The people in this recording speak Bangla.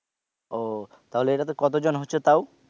ও তাহলে এটাতে কত জন হচ্ছে তাও?